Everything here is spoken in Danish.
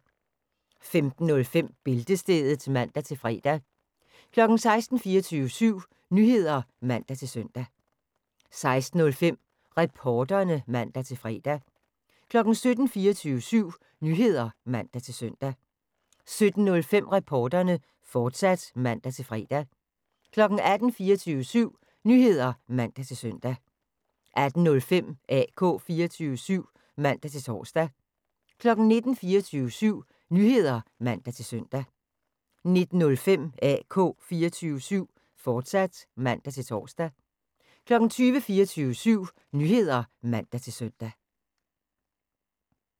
15:05: Bæltestedet (man-fre) 16:00: 24syv Nyheder (man-søn) 16:05: Reporterne (man-fre) 17:00: 24syv Nyheder (man-søn) 17:05: Reporterne, fortsat (man-fre) 18:00: 24syv Nyheder (man-søn) 18:05: AK 24syv (man-tor) 19:00: 24syv Nyheder (man-søn) 19:05: AK 24syv, fortsat (man-tor) 20:00: 24syv Nyheder (man-søn)